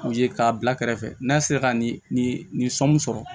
U ye k'a bila kɛrɛfɛ n'a sera ka nin nin sɔnni sɔrɔ